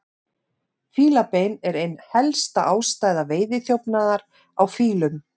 Fílabein er ein helsta ástæða veiðiþjófnaðar á fílum.